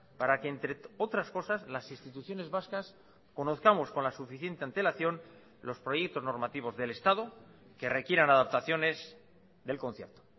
para que entre otras cosas las instituciones vascas conozcamos con la suficiente antelación los proyectos normativos del estado que requieran adaptaciones del concierto